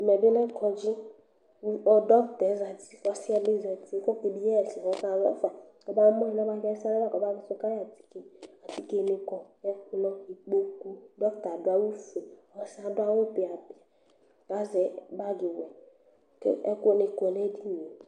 Ɛmɛbi lɛ kɔndzi, dɔktɛ zati kʋ asɩyɛ bi zati Kʋ ɔke yi ɛsɛyɛ kʋ ɔkazɔfa kʋ ɔbamʋ alɛ ɛsɛlɛ lakʋ ɔba kʋtʋ kayi atike Atikeni kɔ ɛkplɔ, ikpokʋ dɔkta adʋ awʋfueƆsiyɛ adʋ awʋ pɩapɩa kʋ azɛ bagiwɛ, kʋ ɛkʋni kɔnʋ edinie